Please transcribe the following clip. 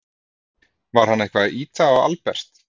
Var hann eitthvað að ýta á Albert?